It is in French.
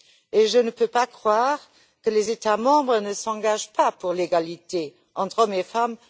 De plus, je ne peux pas croire que les États membres ne s'engagent pas pour l'égalité entre hommes et femmes.